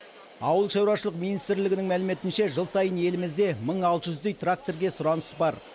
ауылшаруашылық министрлігінің мәліметінше жыл сайын елімізде мың алты жүздей тракторге сұраныс бар